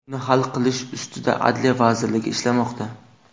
Uni hal qilish ustida Adliya vazirligi ishlamoqda.